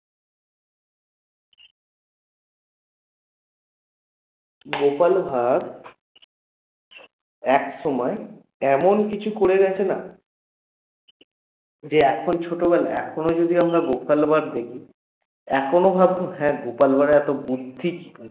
গোপাল ভাড় একসময় এমন কিছু করে গেছে না? যে এখন ছোটবেলায় এখনো যদি আমরা গোপাল ভাড় দেখি এখনও ভাববো হ্যাঁ গোপাল ভাড়ের এত বুদ্ধি